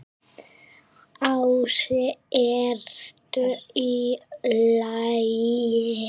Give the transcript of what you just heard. Ási: ERTU Í LAGI?